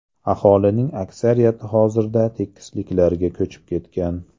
Aholining aksariyati hozirda tekisliklarga ko‘chib ketgan.